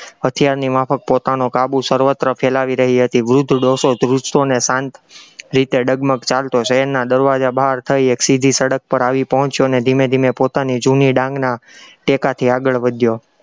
હથિયારની માફક પોતાનો કાબુ સર્વત્ર ફેલાવી રહી હતી, વૃદ્ધ ડોસો ધ્રૂજતો અને શાંત રીતે ડગમગ ચાલતો, શહેરના દરવાજા બહાર થઇ એક સીધી સડક પર આવી પહોંચ્યો અને ધીમે ધીમે પોતાની જૂની ડાંગના ટેકાથી આગળ વધ્યો